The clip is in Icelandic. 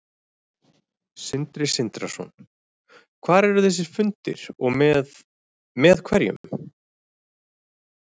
Sindri Sindrason: Hvar eru þessir fundir og með, með hverjum?